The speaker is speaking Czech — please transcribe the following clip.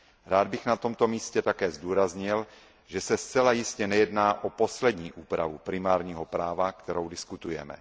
Rád bych na tomto místě také zdůraznil, že se zcela jistě nejedná o poslední úpravu primárního práva, kterou diskutujeme.